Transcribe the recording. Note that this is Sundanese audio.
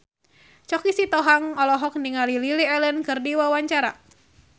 Choky Sitohang olohok ningali Lily Allen keur diwawancara